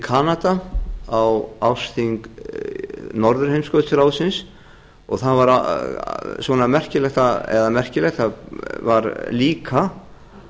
kanada á ársþing norðurheimskautsráðsins og það var merkilegt eða það var líka